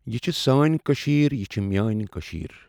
یہِ چھِ سأنؠ کٔشیر یہِ چھِ میأنی کٔشیٖر۔